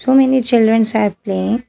So many childrens are playing.